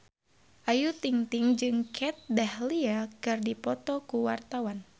Ayu Ting-ting jeung Kat Dahlia keur dipoto ku wartawan